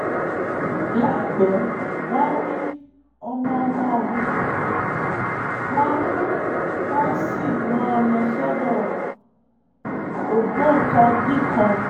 láìpẹ́ wọ́n á rí ọmọ-ọmọ mi wọ́n mi wọ́n á sì rán an lọ sọ́dọ̀ ògbóǹkangí kan